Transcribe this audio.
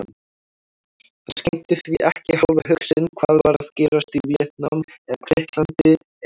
Hann skenkti því ekki hálfa hugsun hvað var að gerast í Víetnam eða Grikklandi eða